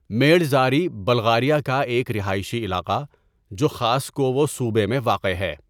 Madzhari Bulgaria کا ایک رہائشی علاقہ جو خاسکوو صوبہ میں واقع ہے.